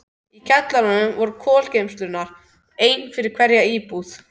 Í kjallaranum voru kolageymslurnar, ein fyrir hverja íbúð.